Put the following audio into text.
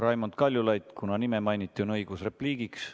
Raimond Kaljulaid, kuna nime mainiti, on õigus repliigiks.